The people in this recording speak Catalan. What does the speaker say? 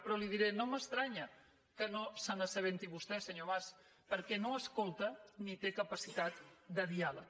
però li diré no m’estranya que no se n’assabenti vostè senyor mas perquè no escolta ni té capacitat de diàleg